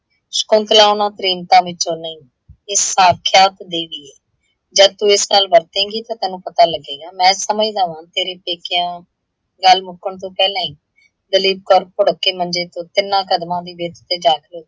ਸ਼ਕੁੰਤਲਾ ਉਹਨਾ ਪੇ੍ਮਿਕਾ ਵਿੱਚੋਂ ਨਹੀਂ, ਇਹ ਸਾਕਸ਼ਾਤ ਦੇਵੀ ਏ। ਜਦ ਤੂੰ ਇਸ ਨਾਲ ਵਰਤੇਂਗੀ ਤਾਂ ਤੈਨੂੰ ਪਤਾ ਲੱਗੇਗਾ, ਮੈਂ ਸਮਝਦਾ ਵਾਂ ਤੇਰੇ ਪੇਕਿਆਂ। ਗੱਲ ਮੁੱਕਣ ਤੋਂ ਪਹਿਲਾਂ ਹੀ ਦਲੀਪ ਕੌਰ ਭੁੜੱਕ ਕੇ ਮੰਜੇ ਤੋਂ ਤਿਨਾਂ ਕਦਮਾਂ ਦੀ ਵਿੱਥ ਤੇ ਜਾਕੇ